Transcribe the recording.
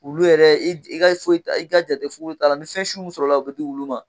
Wulu yɛrɛ ka foyi i ka jate foyi t'a la ni fɛnsu min sɔrɔla o bɛ di wulu ma.